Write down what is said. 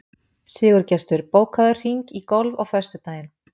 Sigurgestur, bókaðu hring í golf á föstudaginn.